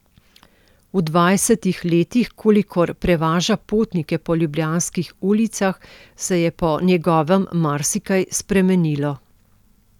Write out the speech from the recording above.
V dvajsetih letih, kolikor prevaža potnike po ljubljanskih ulicah, se je po njegovem marsikaj spremenilo.